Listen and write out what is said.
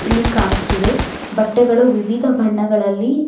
ಇಲ್ಲಿ ಕಾನುತ್ತಿವೆ ಬಟ್ಟೆಗಳು ವಿವಿಧ ಬಣ್ಣದಲ್ಲಿ--